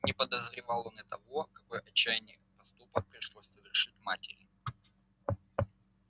не подозревал он и того какой отчаянный поступок пришлось совершить матери